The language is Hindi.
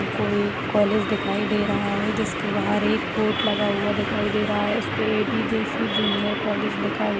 कोई कॉलेज दिखाई दे रहा है जिसके बाहर एक बोर्ड लगा हुवा दिखाई दे रहा है उसपे ए_डी_जोशी जूनियर कॉलेज लिखा हुआ--